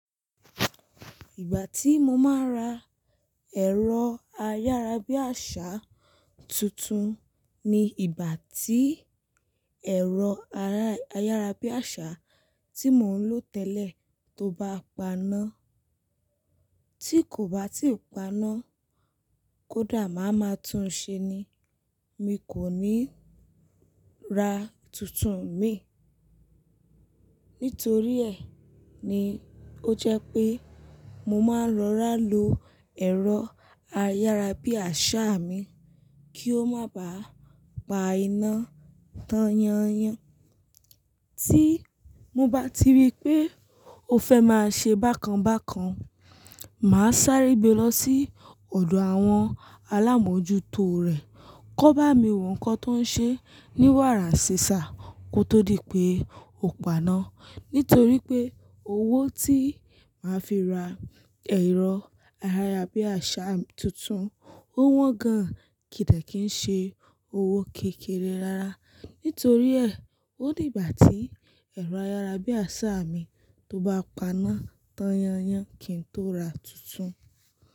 Ìgbà tí mo máa ra ẹ̀rọ ayárabíàṣá tuntun ni ìgbà tí ẹ̀rọ ayárabíàṣá tí mò ń lò tẹ́lẹ̀ tó bá paná. Tí kò bá tí i paná, kódà máa ma tún ṣe ni, mi kò ní ra tuntun mií. Nítorí ẹ̀ ni ó jẹ́ pé mo máa ń rọ́rá lo ẹ̀rọ ayárabíàṣá mi kí ó má báa pa iná tan yan-yan. Tí mo bá ti rí pé ó fẹ́ máa ṣe bákan bákan, màá sáré gbe lọ sí ọ̀dọ̀ àwọn alámójútó rẹ̀ ki won bá mi wo nkan tó ń ṣe ní wàrànsesá kí ó tó di pé ó paná. Nítorí pé owó tí màá fi ra ẹ̀rọ ayárabíàṣá tuntun ó wọ́n gan-an, kì í dẹ̀ kí ń ṣe owó kékeré rara. Nítorí ẹ̀, ó dí ìgbà tí ẹ̀rọ ayárabíàṣá mi tó bá paná tan yan-yan kí n tó ra tuntun.